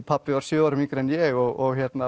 pabbi var sjö árum yngri en ég og